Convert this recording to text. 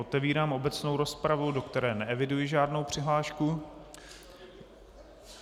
Otevírám obecnou rozpravu, do které neeviduji žádnou přihlášku.